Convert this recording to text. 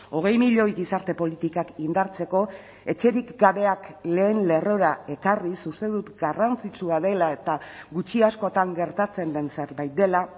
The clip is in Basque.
hogei milioi gizarte politikak indartzeko etxerik gabeak lehen lerrora ekarriz uste dut garrantzitsua dela eta gutxi askotan gertatzen den zerbait dela